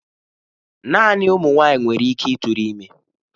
Naanị ụmụ nwanyị nwere ike ịtụrụ ime.